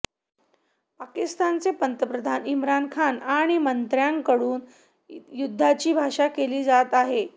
पाकिस्तानचे पंतप्रधान इम्रान खान आणि मंत्र्यांकडून युद्धाची भाषा केली जात आहे